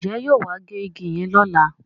Njé yóò wá gé ìgi yen lọla?